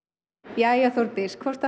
jæja Þórdís hvort